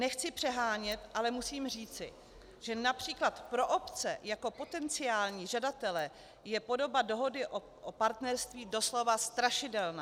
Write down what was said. Nechci přehánět, ale musím říci, že například pro obce jako potenciální žadatele je podoba Dohody o partnerství doslova strašidelná.